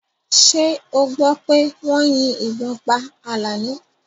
Ṣé ọ gbọ́ pé wọ́n yín ìbọn pá Àlàní?